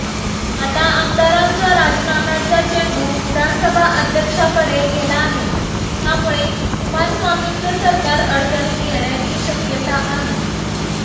आता आमदारांच्या राजीनाम्याचा चेंडू विधानसभा अध्यक्षाकडे गेला आहे त्यामुळे कुमारस्वामींचे सरकार अडचणीत येण्याची शक्यता आहे